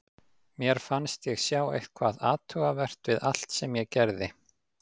Mér fannst ég sjá eitthvað athugavert við allt sem ég gerði.